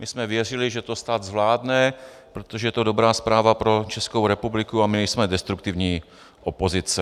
My jsme věřili, že to stát zvládne, protože je to dobrá zpráva pro Českou republiku a my nejsme destruktivní opozice.